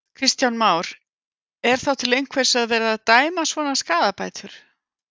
Kristján Már: Er þá til einhvers að vera að dæma svona skaðabætur?